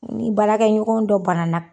Ni baarakɛ ɲɔgɔn dɔ banana